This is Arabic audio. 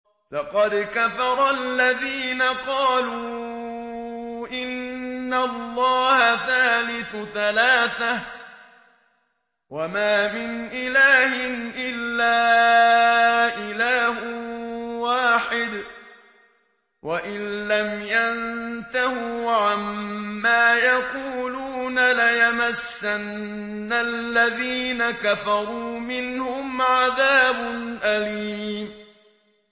لَّقَدْ كَفَرَ الَّذِينَ قَالُوا إِنَّ اللَّهَ ثَالِثُ ثَلَاثَةٍ ۘ وَمَا مِنْ إِلَٰهٍ إِلَّا إِلَٰهٌ وَاحِدٌ ۚ وَإِن لَّمْ يَنتَهُوا عَمَّا يَقُولُونَ لَيَمَسَّنَّ الَّذِينَ كَفَرُوا مِنْهُمْ عَذَابٌ أَلِيمٌ